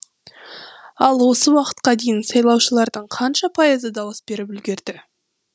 ал осы уақытқа дейін сайлаушылардың қанша пайызы дауыс беріп үлгерді